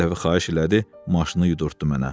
Bir dəfə xahiş elədi, maşını yudurtdu mənə.